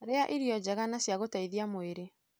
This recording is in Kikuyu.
Rĩa irio njega na cia gũteithia mwirĩ.